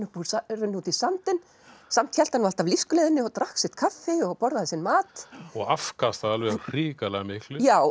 runnu út í sandinn samt hélt hann nú alltaf lífsgleðinni og drakk sitt kaffi og borðaði sinn mat og afkastaði alveg hrikalega miklu já